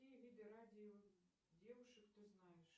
какие виды радио девушек ты знаешь